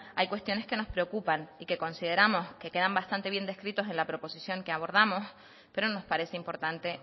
hay cuestiones que nos preocupan y que consideramos que quedan bastante bien descritos en la proposición que abordamos pero nos parece importante